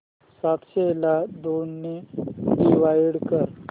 सातशे ला दोन ने डिवाइड कर